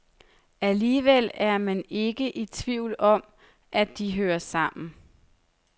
Alligevel er man ikke i tvivl om, at de hører sammen.